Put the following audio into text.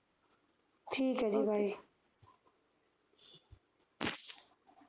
ਠੀਕ ਹੈ ਜੀ Bye